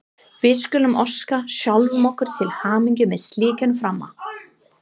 Við skulum óska sjálfum okkur til hamingju með slíkan frama!